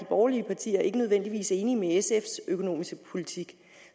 borgerlige partier ikke nødvendigvis enige i sfs økonomiske politik